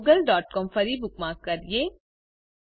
ચાલો googleસીઓએમ ફરી બુકમાર્ક કરીએ